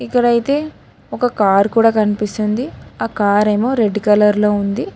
ఇక్కడైతే ఒక కారు కూడా కనిపిస్తుంది ఆ కార్ ఏమో రెడ్ కలర్ లో ఉంది.